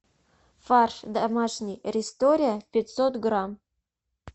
фарш домашний рестория пятьсот грамм